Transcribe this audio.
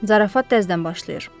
Zarafat təzədən başlayır.